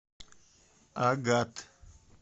агат